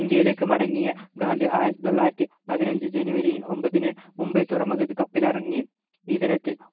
ഇന്ത്യയിലേക്ക് മടങ്ങിയ ഗാന്ധി ആയിരത്തി തൊള്ളായിരത്തി പതിനഞ്ചു ജനുവരി ഒമ്പതിന് മുംബൈ തുറമുഖത്തു കപ്പലിറങ്ങി ഈ ദിനത്തിൽ